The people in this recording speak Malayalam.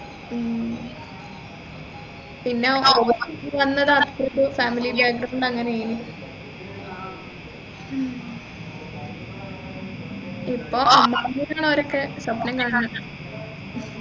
എ ഉം പിന്നെ family background അങ്ങനെന് ഇപ്പൊ അവരൊക്കെ സ്വപ്നം കാണുന്നുണ്ട്